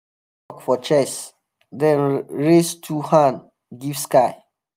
for chest then raise two hand give sky.